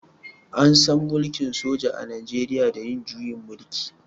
An san mulkin soja a najeriya da yin juyin mulki.